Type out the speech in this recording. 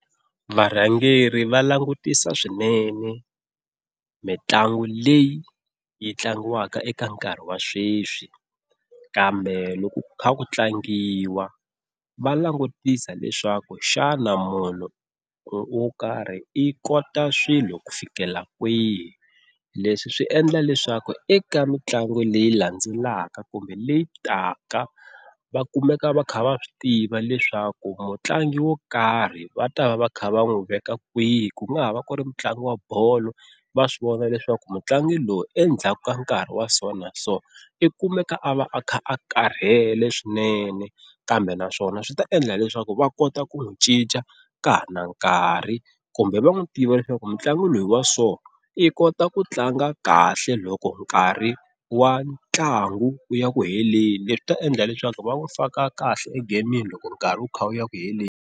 Varhangeri va langutisa swinene mitlangu leyi yi tlangiwaka eka nkarhi wa sweswi, kambe loko ku kha ku tlangiwa va langutisa leswaku xana munhu wo karhi i kota swilo ku fikela kwihi. Leswi swi endla leswaku eka mitlangu leyi landzelaka kumbe leyi taka va kumeka va kha va swi tiva leswaku mutlangi wo karhi va ta va va kha va n'wi veka kwihi ku nga ha va ku ri mutlangi wa bolo va swi vona leswaku mutlangi lowu endzhaku ka nkarhi wa so na so i kumeka a va a kha a karhele swinene kambe naswona swi ta endla leswaku va kota ku n'wi cinca ka ha ri na nkarhi, kumbe va n'wi tiva leswaku mitlangu leyi wa so i kota ku tlanga kahle loko nkarhi wa ntlangu wu ya ku heleni leswi ta endla leswaku va n'wi faka kahle egemini loko nkarhi u kha u ya ku heleni.